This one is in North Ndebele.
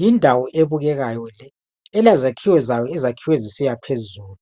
Yindawo ebukekayo le. Elezakhiwo zayo, ezakhiwe zisiya phezulu.